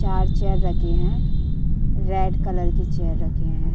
चार चेयर रखी हैं। रेड कलर की चेयर रखे हैं।